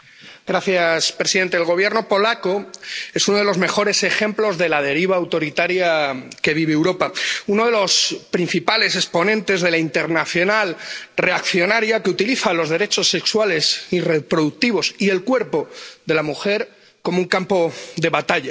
Señor presidente, el Gobierno polaco es uno de los mejores ejemplos de la deriva autoritaria que vive Europa, uno de los principales exponentes de la internacional reaccionaria que utiliza los derechos sexuales y reproductivos y el cuerpo de la mujer como un campo de batalla.